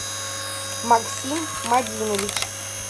максим мадинович